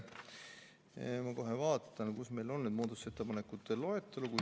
Ma kohe vaatan, kus meil on see muudatusettepanekute loetelu.